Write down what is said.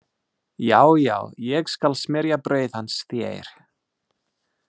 Já, já, ég skal smyrja brauð hans þér